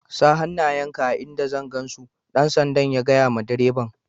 Sa' hanayen ka a'inda zan gan su! Dan sanda'n ya gaya ma direban.